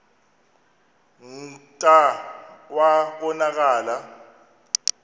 kclta wa konakala